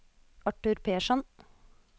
Arthur Persson